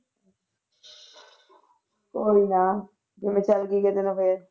ਕੋਈ ਨਾ ਜੇ ਮੈਂ ਚੱਲ ਗਈ ਕਿਤੇ ਤੇ ਫਿਰ।